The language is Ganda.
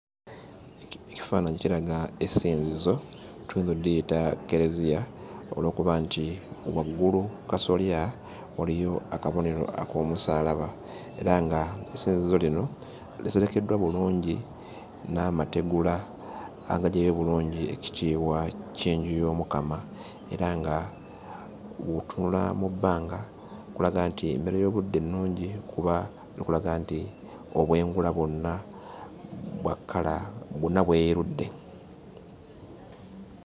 Ekifaananyi kiraga essinzizo tuyinza oddiyita Kkereziya olw'okuba nti waggulu kkasolya waliyo akabonero ak'omusaalaba era ng'essinzizo lino liserekeddwa bulungi n'amategula agaggyayo obulungi ekitiibwa ky'enju y'omukama era nga w'otunula mu bbanga kulaga nti embeera y'obudde nnungi kuba bikulaga nti obwengula bwonna bwa kkala bwonna bweyerudde.